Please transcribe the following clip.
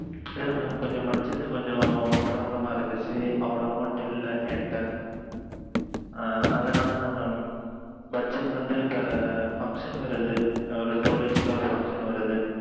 இல்ல mam budget கொஞ்சம் problem ஆ இருந்தது அவ்வளவு இல்ல எண்ட ஆ அதுனாலத்தான் mam budget வந்து function வருது two days ல ஓரு function வருது